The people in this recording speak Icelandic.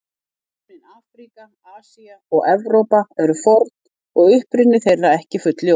Nöfnin Afríka, Asía og Evrópa eru forn og uppruni þeirra ekki fullljós.